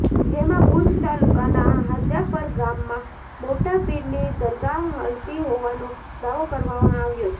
જેમાં ભુજ તાલુકાના હાજાપર ગામમાં મોટા પીરની દરગાહ હલતી હોવાનો દાવો કરવામાં આવ્યો છે